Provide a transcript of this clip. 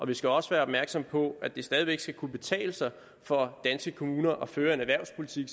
vi skal også være opmærksomme på at det stadig væk skal kunne betale sig for danske kommuner at føre en erhvervspolitik